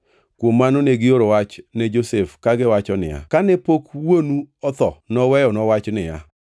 Kuom mano negioro wach ne Josef kagiwacho niya, “Kane pok wuonu otho noweyonwa wach niya,